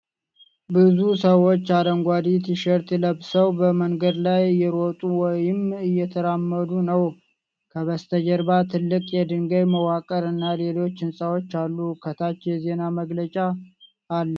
ብዙ ሰዎች አረንጓዴ ቲሸርት ለብሰው በመንገድ ላይ እየሮጡ ወይም እየተራመዱ ነው። ከበስተጀርባ ትልቅ የድልድይ መዋቅር እና ሌሎች ህንፃዎች አሉ። ከታች የዜና መግለጫ አለ።